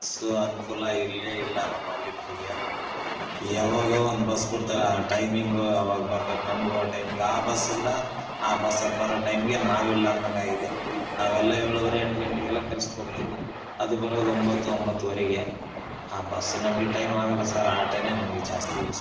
ಸ್ವಅನುಕೂಲ ಇಲ್ಲೇ ಇಲ್ಲಾ ನಮ್ಮಲ್ಲಿ ಯಾವಾಗ ಒಂದ್ ಬಸ್ ಬಿಡ್ತರೆ ಆ ಟೈಮಿಂಗ್ ಆವಾಗ ಬರತ್ತದೆ ನಮ್ಮಗೂ ಟೈಮ್ ಯಾವ ಬಸ್ ಇಲ್ಲಾ ಆ ಬಸ್ ಬರೋ ಟೈಂಗೆ ನಾವ್ ಇಲ್ಲಂಗ ಆಗಿದೆ ನಾವೆಲ್ಲಾ ಯೊಳುವರೇ ಎಂಟ ಗಂಟೆಗೆಲ್ಲಾ ಕೆಲಸಕ್ಕ್ ಹೋಗತ್ತೀವಿ ಅದು ಬರೋದು ಒಂಬ್ಬತ್ತು ಒಂಬ್ಬತ್ತುವರೆಗೆ ಆ ಬಸ್ ನಮ್ಮಗೆ ಟೈಮ್ಗ ಆಗಲ್ಲಾ ಸರ್ ಆಟೋನೆ ಜಾಸ್ತಿ ಯೂಸ್ ಫುಲ್ .